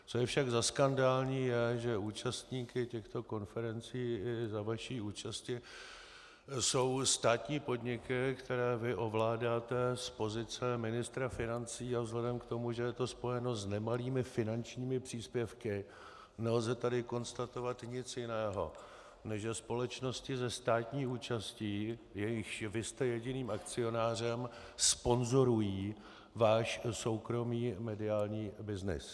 Co je však za skandální, je, že účastníky těchto konferencí i za vaší účasti jsou státní podniky, které vy ovládáte z pozice ministra financí, a vzhledem k tomu, že je to spojeno s nemalými finančními příspěvky, nelze tady konstatovat nic jiného, než že společnosti se státní účastí, jejichž vy jste jediným akcionářem, sponzorují váš soukromý mediální byznys.